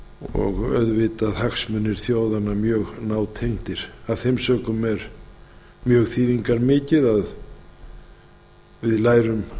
og auðvitað hagsmunir þjóðanna mjög nátengdir af þeim sökum er mjög þýðingarmikið að við lærum